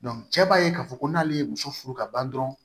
cɛ b'a ye k'a fɔ ko n'ale ye muso furu ka ban dɔrɔn